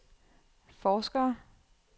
forskere